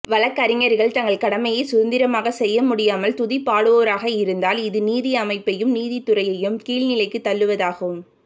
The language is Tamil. வழக்கறிஞர்கள் தங்கள் கடமையை சுதந்திரமாக செய்ய முடியாமல் துதிபாடுவோராக இருந்தால் இது நீதி அமைப்பையும் நீதித்துறையும் கீழ் நிலைக்குத் தள்ளுவதாகும்